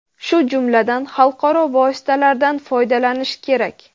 shu jumladan xalqaro vositalardan foydalanishi kerak.